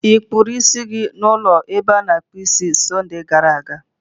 Ị kpụrụ isi gị n'ụlọ ebe a na-akpụ isi na Sọnde gara aga?